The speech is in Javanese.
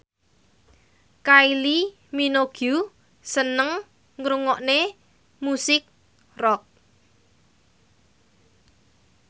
Kylie Minogue seneng ngrungokne musik rock